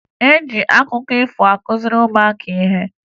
E ji akụkọ ifo akụziri ụmụaka ihe